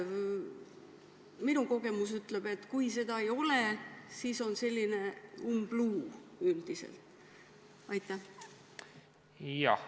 Minu kogemus ütleb, et kui seda ei ole, siis on selline umbluu üldiselt.